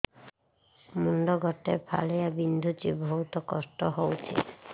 ମୁଣ୍ଡ ଗୋଟେ ଫାଳିଆ ବିନ୍ଧୁଚି ବହୁତ କଷ୍ଟ ହଉଚି